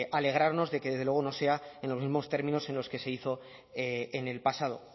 alegrarnos de que desde luego no sea en los mismos términos en los que se hizo en el pasado